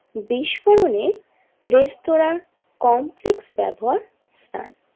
বিস্ফোরণের restaurant complex ব্যবহার স্থান।